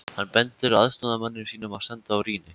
Hann bendir aðstoðarmanni sínum að standa á rýni.